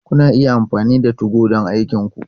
Kuna iya amfani da 2go don aikinku.